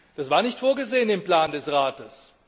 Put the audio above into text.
Das war nicht vorgesehen im Plan des Rates.